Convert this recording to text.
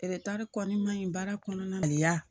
kɔni maɲi baara kɔnɔna na yan